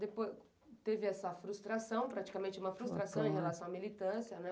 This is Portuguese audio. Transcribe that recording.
Depois teve essa frustração, praticamente uma frustração em relação à militância, né?